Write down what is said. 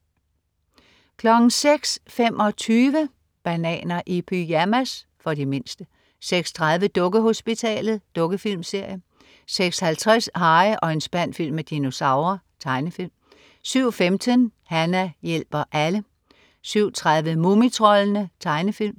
06.25 Bananer i pyjamas. For de mindste 06.30 Dukkehospitalet. Dukkefilmserie 06.50 Harry og en spand fyldt med dinosaurer. Tegnefilm 07.15 Hana hjælper alle 07.30 Mumitroldene. Tegnefilm